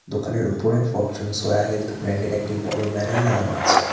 দোকানের উপরে Fortune soya health ব্যান্ডের একটি বড় ব্যানার লাগানো আছে।